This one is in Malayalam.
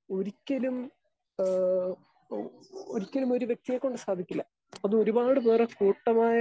സ്പീക്കർ 2 ഒരിക്കലും ആ ഏഹ് ഒരിക്കലുമൊരു വ്യക്തിയെക്കൊണ്ട് സാധിക്കില്ല. അത് ഒരുപാട് പേരുടെ കൂട്ടമായ